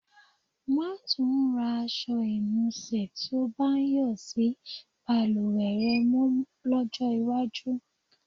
Má́ tún ra aṣọ ìnusẹ̀ tí ó bá ń yọ̀ sí balùwẹ̀ rẹ mọ́ lọ́jọ́ iwájú.